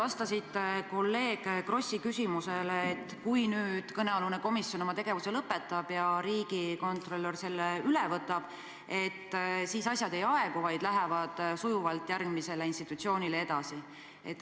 Te ütlesite kolleeg Krossi küsimusele vastates, et kui kõnealune komisjon oma tegevuse lõpetab ja riigikontrolör selle üle võtab, et siis asjad ei aegu, vaid lähevad sujuvalt järgmisele institutsioonile edasi.